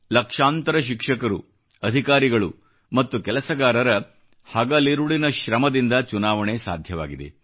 ಲಕ್ಷಾಂತರ ಶಿಕ್ಷಕರು ಅಧಿಕಾರಿಗಳು ಮತ್ತು ಕೆಲಸಗಾರರ ಹಗಲಿರುಳಿನ ಶ್ರಮದಿಂದ ಚುನಾವಣೆ ಸಾಧ್ಯವಾಗಿದೆ